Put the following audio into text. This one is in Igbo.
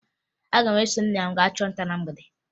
Aga m eso nna m gaa chụọ nta na mgbede